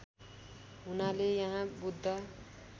हुनाले यहाँ बुद्ध